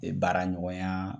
baara ɲɔgɔnya